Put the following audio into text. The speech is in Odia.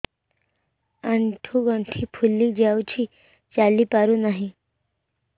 ଆଂଠୁ ଗଂଠି ଫୁଲି ଯାଉଛି ଚାଲି ପାରୁ ନାହିଁ